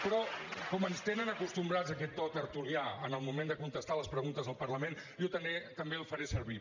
però com ens tenen acostumats a aquest to tertulià en el moment de contestar les preguntes al parlament jo també el faré servir